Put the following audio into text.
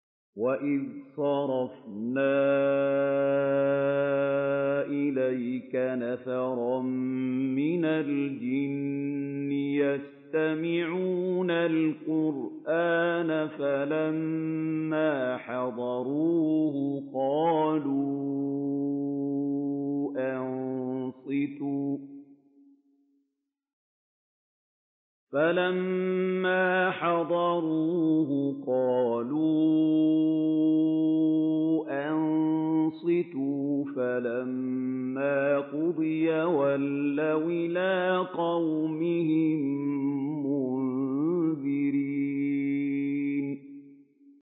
وَإِذْ صَرَفْنَا إِلَيْكَ نَفَرًا مِّنَ الْجِنِّ يَسْتَمِعُونَ الْقُرْآنَ فَلَمَّا حَضَرُوهُ قَالُوا أَنصِتُوا ۖ فَلَمَّا قُضِيَ وَلَّوْا إِلَىٰ قَوْمِهِم مُّنذِرِينَ